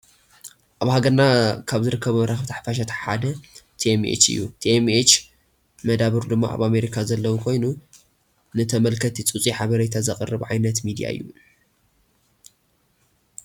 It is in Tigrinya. አብ ሃገርና ካብ ዝርከቡ መራከበቲ ሓፋሻት ሓደ ትኤም ኤች እዩ። ትኤም ኤች ነደበሩ ድማ አብ አሜሪካ ዘለዎ ኮይኑ ንተመልከቲ ፁፁይ ሓበሬታ ዘቅርብ ዓብይ ሚዲያ እዩ።